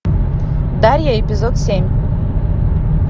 дарья эпизод семь